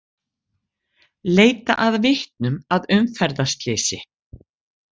Leita að vitnum að umferðarslysi